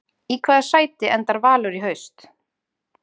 Í hvaða sæti enda Valur í haust?